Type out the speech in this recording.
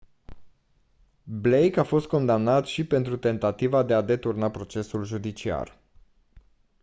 blake a fost condamnat și pentru tentativa de a deturna procesul judiciar